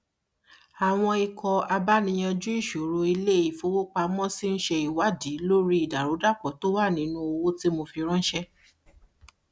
ó fòye yá lára owó inú apoo ìfowópamọsí rẹ láti tún ọkọ tó bàjẹ láìròtẹlẹ ṣe